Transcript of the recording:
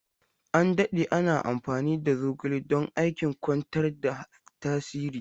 An dade ana amfani da zogale don aikin kwantar da tasiri.